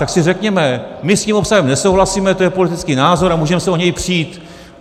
Tak si řekněme, my s tím obsahem nesouhlasíme, to je politický názor a můžeme se o něj přít.